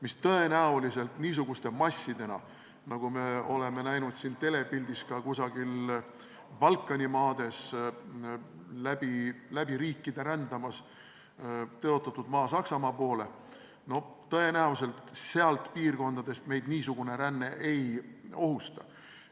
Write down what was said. Meid tõenäoliselt niisugused massid, mida me oleme telepildis näinud kusagil Balkani maades läbi riikide rändamas tõotatud maa Saksamaa poole, sealt piirkondadest ei ohusta.